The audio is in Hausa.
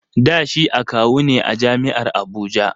Da shi akawu ne a jam'iar Abuja